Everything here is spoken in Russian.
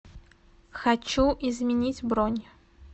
хочу изменить бронь